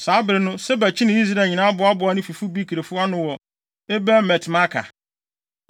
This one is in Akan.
Saa bere no, Seba kyinii Israel nyinaa boaboaa ne fifo Bikrifo ano wɔ Abel-Bet-Maaka.